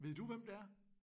Ved du hvem det er?